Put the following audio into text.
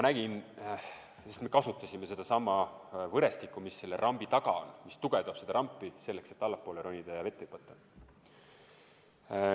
Siis me kasutasime sedasama võrestikku, mis rambi taga on, mis tugevdab rampi, selleks et allapoole ronida ja vette hüpata.